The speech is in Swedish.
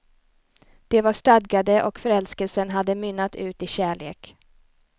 De var stadgade och förälskelsen hade mynnat ut i kärlek.